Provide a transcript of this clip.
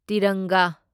ꯇꯤꯔꯪꯒꯥ